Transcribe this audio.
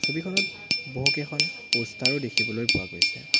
ছবিখনত বহুকেইখন প'ষ্টাৰ ও দেখিবলৈ পোৱা গৈছে।